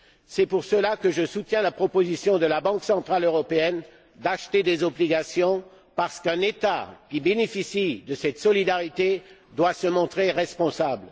C'est pour cela que je soutiens la proposition de la Banque centrale européenne d'acheter des obligations parce qu'un État qui bénéficie de cette solidarité doit se montrer responsable.